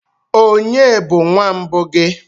Ònye bụ nwa mbụ gị?